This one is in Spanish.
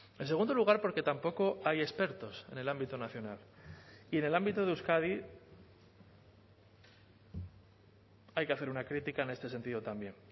en segundo lugar porque tampoco hay expertos en el ámbito nacional y en el ámbito de euskadi hay que hacer una crítica en este sentido también